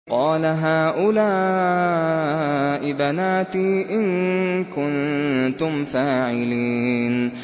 قَالَ هَٰؤُلَاءِ بَنَاتِي إِن كُنتُمْ فَاعِلِينَ